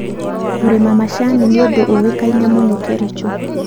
Kũrĩma macani nĩ ũndũ ũĩkaine mũno Kericho.